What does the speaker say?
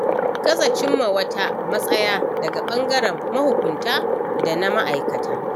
Gaza cimma wata matsaya daga ɓangaren mahukunta da na ma'aikata.